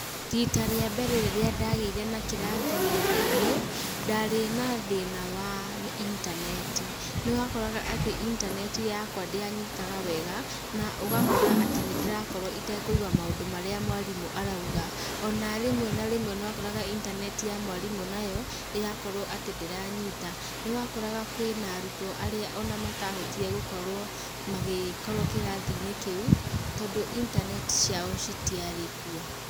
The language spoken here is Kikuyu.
Rita rĩa mbere rĩrĩa ndagĩire na kĩrathi nenda-inĩ, ndarĩ nathĩna wa intaneti. Nĩ wakoraga atĩ intaneti yakwa ndĩanyitaga wega, na ũgakora atĩ nĩ ndĩrakorwo itekũigua maũndũ marĩa mwarimũ arauga. Ona rĩmwe na rĩmwe nĩ wakoraga intaneti ya mwarimũ nayo ĩrakorwo atĩ ndĩranyita. Nĩ wakoraga kwĩna arutwo arĩa ona matahotire gũkorwo magĩkorwo kĩrathi-inĩ kĩu, tondũ intaneti ciao citiarĩ kuo.